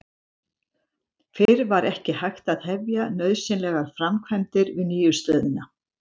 Fyrr var ekki hægt að hefja nauðsynlegar framkvæmdir við nýju stöðina.